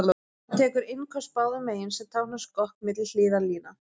Hann tekur innköst báðum megin, sem táknar skokk milli hliðarlína.